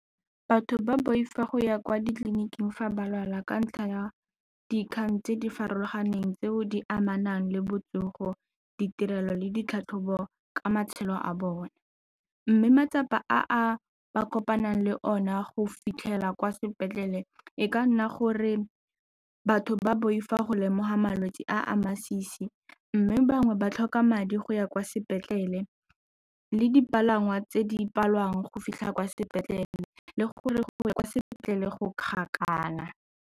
Batho ba boifa go ya kwa ditleliniking fa ba lwala ka ntlha ya dikgang tse di farologaneng tseo di amanang le botsogo, ditirelo le ditlhatlhobo ka matshelo a bone mme matsapa a ba kopanang le one go fitlhela kwa sepetlele e ka nna gore batho ba boifa go lemoga malwetse a a masisi mme bangwe ba tlhoka madi go ya kwa sepetlele le dipalangwa tse di palelwang go fitlha kwa sepetlele le gore kwa sepetlele go kgakala.